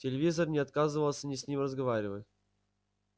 телевизор не отказывался ни с ним разговаривать